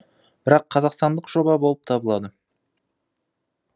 бірақ қазақстандық жоба болып табылады